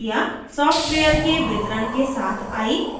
* software के वितरण के साथ a